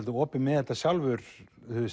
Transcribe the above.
opinn með þetta sjálfur